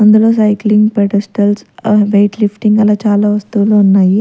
అందులో cycling pedestals ఆ weight lifting అలా చాలా వస్తువులు ఉన్నాయి.